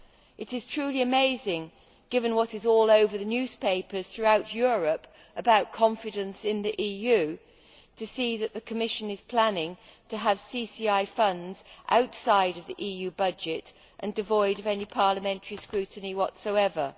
It is truly amazing, given what is all over the newspapers throughout Europe about confidence in the EU, to see that the Commission is planning to have CCI funds outside the EU budget and devoid of any parliamentary scrutiny whatsoever.